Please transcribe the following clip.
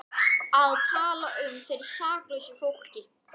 Að tala um fyrir saklausu fólki